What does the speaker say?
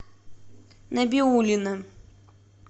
набиуллина